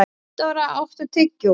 Gunndóra, áttu tyggjó?